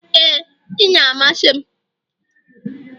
ee, ji na-amasị m